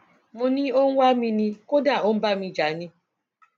mo ní ó ń wá mi ni kódà ó ń bá mi jà ni